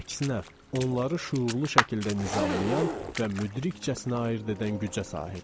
Əksinə, onları şüurlu şəkildə nizamlayan və müdrikcəsinə ayırd edən gücə sahibdir.